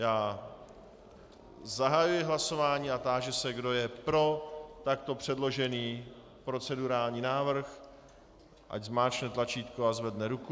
Já zahajuji hlasování a táži se, kdo je pro takto předložený procedurální návrh, ať zmáčkne tlačítko a zvedne ruku.